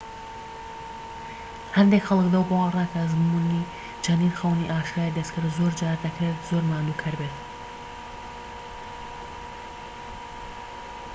هەندێک خەڵک لەو باوەڕەدان کە ئەزموونی چەندین خەونی ئاشکرای دەستکرد زۆرجار دەکرێت زۆر ماندووکەر بێت